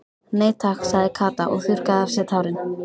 Nei takk sagði Kata og þurrkaði af sér tárin.